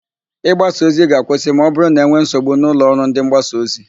Ị gbasa ozi ga-akwụsị ma ọbụrụ na e nwee nsogbu n'ụlọ ọrụ ndịmgbasaozi